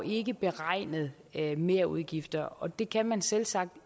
ikke beregnet merudgifter og det kan man selvsagt